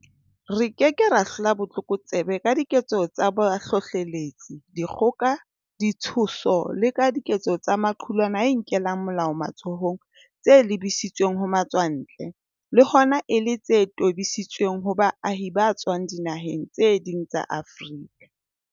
Re ke ke ra hlola botlokotsebe ka diketso tsa bohlohleletsi, dikgoka, ditshoso le ka diketso tsa maqulwana a inkelang molao matsohong tse lebisitsweng ho matswantle, le hona e le tse tobisitsweng ho baahi ba tswang dinaheng tse ding tsa Afrika.